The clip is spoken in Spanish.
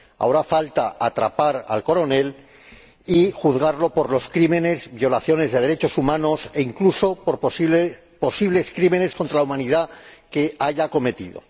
Ahora falta atrapar al Coronel y juzgarlo por los crímenes, violaciones de derechos humanos e incluso por los posibles crímenes contra la humanidad que haya cometido.